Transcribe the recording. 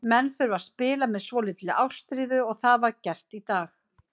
Menn þurfa að spila með svolítilli ástríðu og það var gert í dag.